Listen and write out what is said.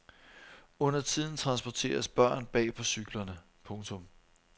Undertiden transporteres børn bag på cyklerne. punktum